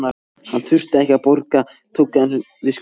Hann þurfti ekkert að borga, tók aðeins við skuldunum.